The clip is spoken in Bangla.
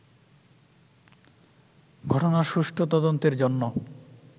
ঘটনার সুষ্ঠু তদন্তের জন্য